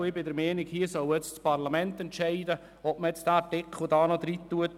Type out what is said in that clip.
Ich bin der Meinung, dass das Parlament entscheiden soll, ob man diesen Artikel noch ergänzt.